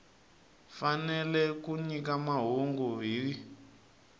fanele ku nyika mahungu hi